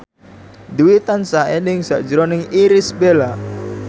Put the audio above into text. Dwi tansah eling sakjroning Irish Bella